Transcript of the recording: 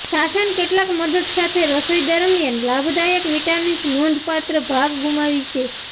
શાસન કેટલાક મદદ સાથે રસોઈ દરમ્યાન લાભદાયક વિટામિન્સ નોંધપાત્ર ભાગ ગુમાવી છે